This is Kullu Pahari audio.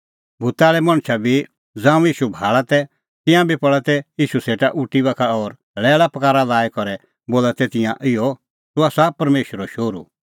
भूता आल़ै मणछ बी ज़ांऊं ईशू भाल़ा तै तिंयां बी पल़ा तै ईशू सेटा उटी बाखा और लैल़ापकारा लाई करै बोला तै तिंयां इहअ तूह आसा परमेशरो शोहरू